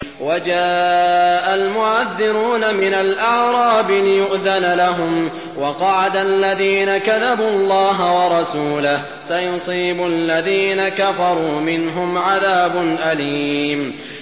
وَجَاءَ الْمُعَذِّرُونَ مِنَ الْأَعْرَابِ لِيُؤْذَنَ لَهُمْ وَقَعَدَ الَّذِينَ كَذَبُوا اللَّهَ وَرَسُولَهُ ۚ سَيُصِيبُ الَّذِينَ كَفَرُوا مِنْهُمْ عَذَابٌ أَلِيمٌ